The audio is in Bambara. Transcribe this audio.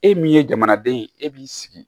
E min ye jamanaden ye e b'i sigi